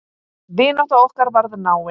Vinátta okkar varð náin.